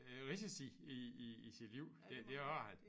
Øh risici i i i sit liv det det har han